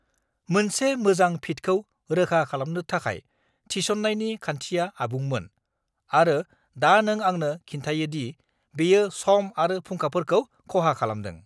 मोनसे मोजां फिटखौ रोखा खालामनो थाखाय थिसननायनि खान्थिया आबुंमोन, आरो दा नों आंनो खिन्थायो दि बेयो सम आरो फुंखाफोरखौ खहा खालामदों!